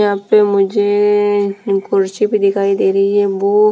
यहाँ पे मुझे कुर्सी भी दिखाई दे रही है बो --